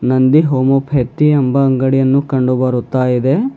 ನಂದಿ ಹೋಮೋಫೆಕ್ತಿ ಎಂಬ ಅಂಗಡಿಯನ್ನು ಕಂಡು ಬರುತ್ತಾ ಇದೆ.